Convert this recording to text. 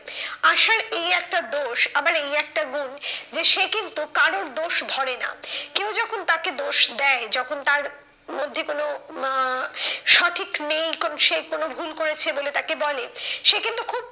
আশার এই একটা দোষ, আবার এই একটা গুন, যে সে কিন্তু কারোর দোষ ধরে না। কেউ যখন তাকে দোষ দেয় যখন তার মধ্যে কোনো আহ সঠিক নেই কোনো সে কোনো ভুল করেছে বলে তাকে বলে সে কিন্তু খুব,